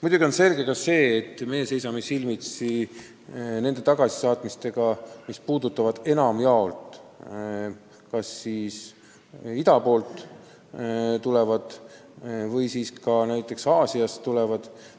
Muidugi on selge ka see, et meie seisame silmitsi nende tagasisaatmistega, mis puudutavad enamjaolt kas ida poolt või ka Aasiast tulevaid inimesi.